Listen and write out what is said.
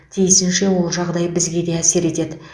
тиісінше ол жағдай бізге де әсер етеді